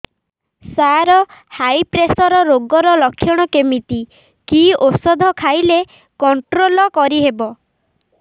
ସାର high pressure ରୋଗର ଲଖଣ କେମିତି କି ଓଷଧ ଖାଇଲେ କଂଟ୍ରୋଲ କରିହେବ